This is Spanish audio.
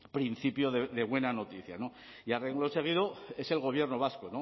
principio de buena noticia y a renglón seguido es el gobierno vasco